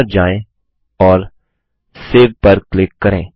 file पर जाए और सेव पर क्लिक करें